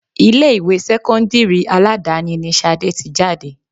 Ilé ìwé sẹ́kọ́ńdírì Aládàáni ni Ṣadé tí jáde.